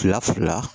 Fila fila